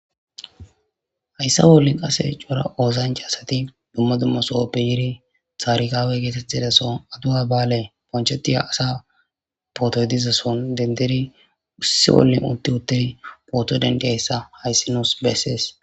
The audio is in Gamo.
Hayssa bolla qasse coora ossancha asssti dumma dumma sohoppe yiidi taarikawi gettetiza soho aadawa ba'alley bonchchettiya assa pootoy diiza sohon dendidi issi ollan utti utti pooto dendiysyssa hayssi nussi besses.